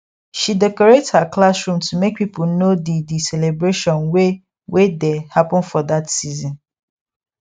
she decorate her classroom to make people know the the celebration wey wey dey happen for that season